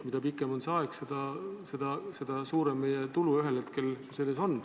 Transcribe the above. Mida pikem on see aeg, seda suurem meie tulu ühel hetkel selles fondis on.